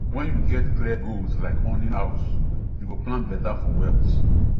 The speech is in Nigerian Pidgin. when you get clear goals like owning house you go plan better for wealth